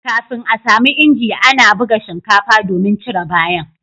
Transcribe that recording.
kafin a samu inji ana ana buga shinkafa domin cire bayan